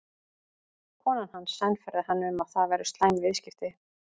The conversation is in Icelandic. Konan hans sannfærði hann um að það væru slæm viðskipti.